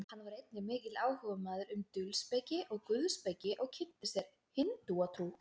hann var einnig mikill áhugamaður um dulspeki og guðspeki og kynnti sér hindúatrú